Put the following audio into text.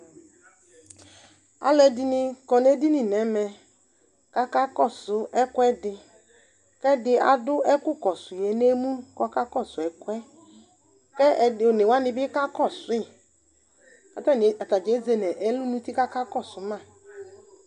Alʋɛdɩnɩ kɔ nʋ edini nʋ ɛmɛ kʋ akakɔsʋ ɛkʋɛdɩ kʋ ɛdɩ adʋ ɛkʋkɔsʋ yɛ nʋ emu kʋ ɔkakɔsʋ ɛkʋ yɛ kʋ ɛdɩ one wanɩ bɩ kakɔsʋ yɩ kʋ atanɩ ata dza ezi nʋ ɛlʋ nʋ uti kʋ akakɔsʋ ma